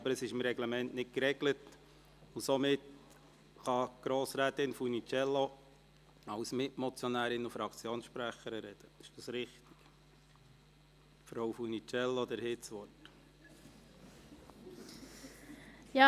Das ist jedoch im Reglement nicht geregelt, und somit kann Grossrätin Funiciello als Mitmotionärin und Fraktionssprecherin sprechen.